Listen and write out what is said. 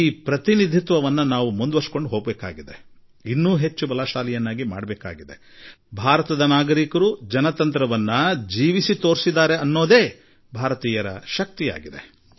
ಈ ಪ್ರತಿ ಬದ್ಧತೆಯೊಡನೆ ನಾವು ಮುನ್ನಡೆಯಬೇಕಾಗಿದೆ ಹಾಗೂ ಶಕ್ತಿಶಾಲಿಯಾಗಬೇಕಾಗಿದೆ ಮತ್ತು ಭಾರತೀಯರು ಪ್ರಜಾಪ್ರಭುತ್ವವನ್ನು ಅನುಭವಿಸಿ ತೋರಿಸಿಕೊಟ್ಟಿದ್ದಾರೆ ಎಂಬುದೇ ಭಾರತದ ಜನರ ಸಾಮರ್ಥ್ಯವಾಗಿದೆ